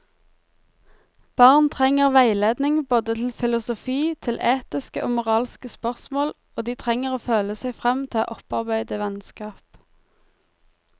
Barn trenger veiledning både til filosofi, til etiske og moralske spørsmål, og de trenger å føle seg frem til å opparbeide vennskap.